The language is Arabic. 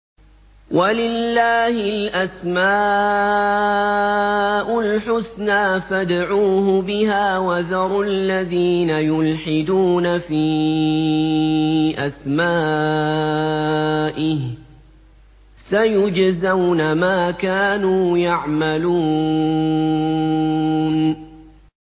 وَلِلَّهِ الْأَسْمَاءُ الْحُسْنَىٰ فَادْعُوهُ بِهَا ۖ وَذَرُوا الَّذِينَ يُلْحِدُونَ فِي أَسْمَائِهِ ۚ سَيُجْزَوْنَ مَا كَانُوا يَعْمَلُونَ